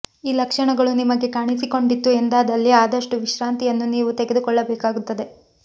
ಈ ಲಕ್ಷಣಗಳು ನಿಮಗೆ ಕಾಣಿಸಿಕೊಂಡಿತು ಎಂದಾದಲ್ಲಿ ಆದಷ್ಟು ವಿಶ್ರಾಂತಿಯನ್ನು ನೀವು ತೆಗೆದುಕೊಳ್ಳಬೇಕಾಗುತ್ತದೆ